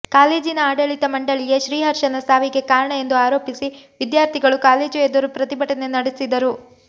ಕಾಲೇಜಿನ ಆಡಳಿತ ಮಂಡಳಿಯೇ ಶ್ರೀಹರ್ಷನ ಸಾವಿಗೆ ಕಾರಣ ಎಂದು ಆರೋಪಿಸಿ ವಿದ್ಯಾರ್ಥಿಗಳು ಕಾಲೇಜು ಎದುರು ಪ್ರತಿಭಟನೆ ನಡೆಸಿದರು